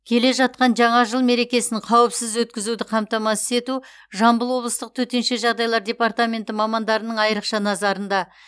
келе жатқан жаңа жыл мерекесін қауіпсіз өткізуді қамтамасыз ету жамбыл облыстық төтенше жағдайлар департаментінің мамандарының айрықша назарында